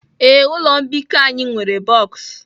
Ee, ụlọ mbikọ anyị nwere boks